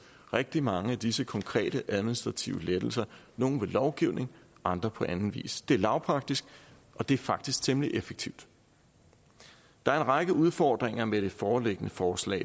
rigtig mange af disse konkrete administrative lettelser nogle ved lovgivning og andre på anden vis det er lavpraktisk og det er faktisk temmelig effektivt der er en række udfordringer med det foreliggende forslag